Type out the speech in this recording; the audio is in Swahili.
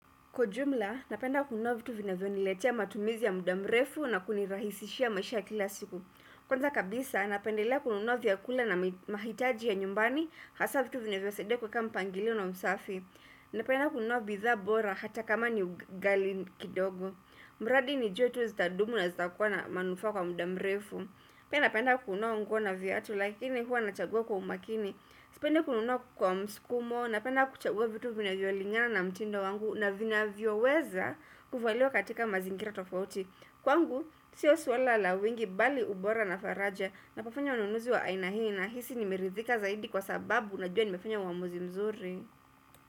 Kwa ujumla, napenda kununua vitu vinavyoniletia matumizi ya muda mrefu na kunirahisishia maisha kila siku. Kwanza kabisa, napendelea kununua vyakula na mahitaji ya nyumbani, hasa vitu vinavyonisaidia kuweka mpangilio na usafi. Napenda kununua bidhaa bora hata kama ni ghali kidogo. Mradi nijue tu zitadumu na zitakuwa na manufaa kwa muda mrefu. Napenda kununua nguo na viatu lakini huwa nachagua kwa umakini. Sipendi kununua kwa msukumo na penda kuchagua vitu vinavyolingana na mtindo wangu na vinavyoweza kuvaliwa katika mazingira tofauti. Kwangu, sio swala la wingi bali ubora na faraja na kufanya ununuzi wa aina hii nahisi nimeridhika zaidi kwa sababu najua nimefanya uamuzi mzuri.